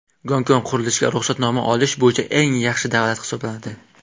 Gonkong qurilishga ruxsatnoma olish bo‘yicha eng yaxshi davlat hisoblanadi.